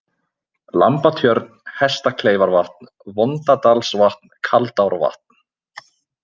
Lambatjörn, Hestakleifarvatn, Vondadalsvatn, Kaldárvatn